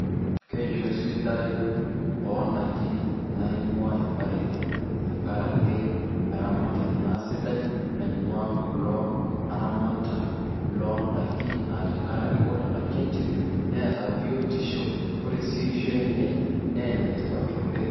Keishoi sidai oondaiki naing'ua mpareti tenkarake eramatare naa sidai naing'ua kulo aramatak loondaiki aa tenkarake kore ndaiki enche neeta biotisho, kore sii eishoi enye naa enetipat oleng'.